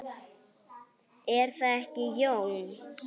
Er það ekki, Jón?